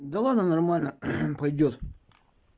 да ладно нормально пойдёт